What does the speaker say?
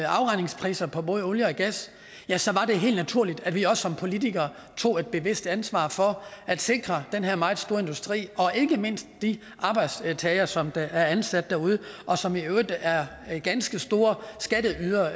afregningspriser på både olie og gas ja så var det helt naturligt at vi også som politikere tog et bevidst ansvar for at sikre den her meget store industri og ikke mindst de arbejdstagere som er ansat derude og som i øvrigt er er ganske store skatteydere